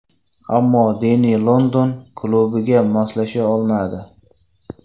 Ammo Denni London klubiga moslasha olmadi.